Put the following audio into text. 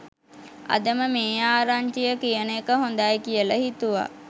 අදම මේ ආරංචිය කියන එක හොදයි කියල හිතුවා